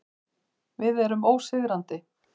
Við erum ósigrandi.